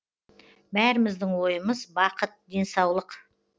бәріміздің ойымыз бақыт денсаулық